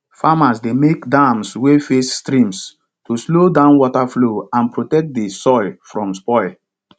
farmers dey make dams wey face streams to slow down water flow and protect di soil from spoil